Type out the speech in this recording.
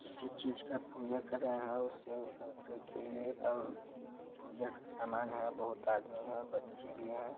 किसी चीज का पूजा कर रहा है और सेव संतरे केले और पूजा का समान है बहुत आदमी है बच्चे भी हैं।